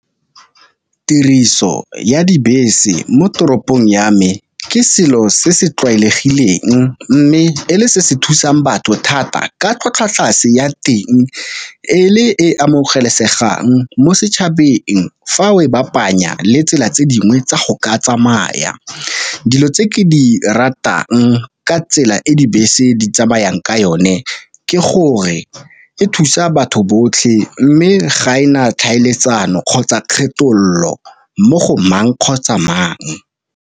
Tiriso ya dibese mo toropong ya me ke selo se se tlwaelegileng, mme e le se se thusang batho thata ka tlhwatlhwa tlase ya teng e le e amogelesegang mo setšhabeng fa o e ba kopanya le tsela tse dingwe tsa go ka tsamaya. Dilo tse ke di ratang ka tsela e dibese di tsamayang ka yone, ke gore e thusa batho botlhe mme ga ena tlhaeletsano kgotsa kgethololo mo go mang kgotsa mang.